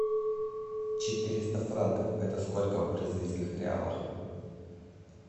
четыреста франков это сколько в бразильских реалах